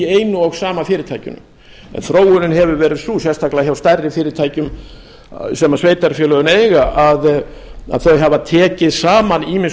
einu og sama fyrirtækinu en þróunin hefur verið sú sérstaklega hjá stærri fyrirtækjum sem sveitarfélögin eiga að þau hafa tekið saman ýmiss